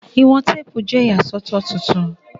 Iwọn teepu jẹ iyasọtọ tuntun